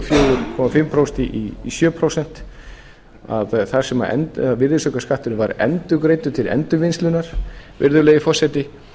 fjögur og hálft prósent í sjö prósent þar sem virðisaukaskatturinn var endurgreiddur til endurvinnslunnar virðulegi forseti